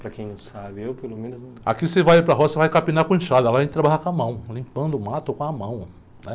Para quem não sabe, eu pelo menos não...qui você vai para a roça, você vai capinar com enxada, lá a gente trabalhava com a mão, limpando o mato com a mão, né?